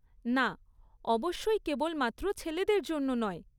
না, অবশ্যই কেবলমাত্র ছেলেদের জন্য নয়।